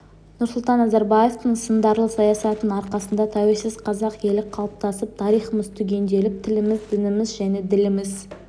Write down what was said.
нұрсұлтан назарбаевтың сындарлы саясатының арқасында тәуелсіз қазақ елі қалыптасып тарихымыз түгенделіп тіліміз дініміз және діліміз